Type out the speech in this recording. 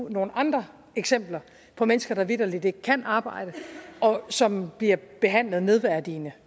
nogle andre eksempler på mennesker der vitterlig ikke kan arbejde og som bliver behandlet nedværdigende